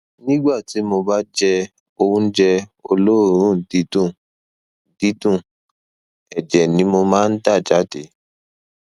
nígbà tí mo bá jẹ oúnjẹ olóòórùn dídùn dídùn ẹjẹ ni mo máa ń dà jáde